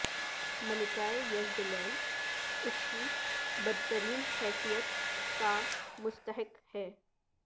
ملکہ یزبیلیل اس کی بدترین حیثیت کا مستحق ہے